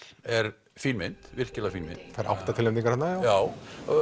er fín mynd virkilega fín mynd fær átta tilnefningar þarna já